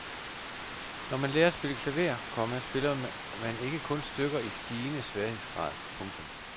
Når man lærer at spille klaver, komma spiller man ikke kun stykker i stigende sværhedsgrad. punktum